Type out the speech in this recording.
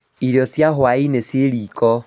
Irio cia hwaĩ-inĩ ciĩ riko